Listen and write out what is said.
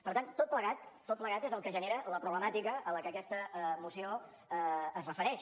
per tant tot plegat tot plegat és el que genera la problemàtica a la que aquesta moció es refereix